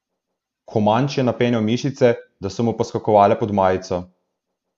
Komanč je napenjal mišice, da so mu poskakovale pod majico.